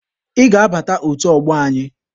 Ị ga-abata otu ọgbọ anyị!